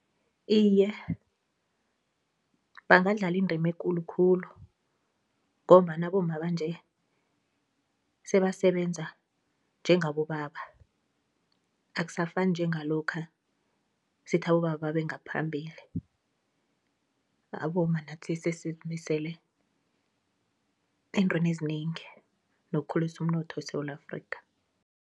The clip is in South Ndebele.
Iye bangadlala indima ekulu khulu ngombana abomma banje sebasebenza njengabobaba, akusafani njengalokha sithi abobaba babe ngaphambili, abomma nathi sesizmisele eentweni ezinengi nokukhulasa umnotho eSewula Afrika.